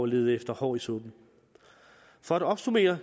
lede efter hår i suppen for at opsummere